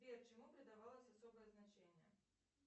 сбер чему предавалось особое значение